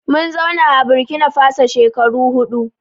Mun zauna a Burkinafaso shekaru huɗu